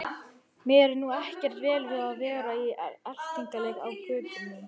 Mér er nú ekkert vel við að vera í eltingaleik á götunum.